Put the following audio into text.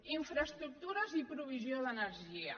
infraestructures i provisió d’energia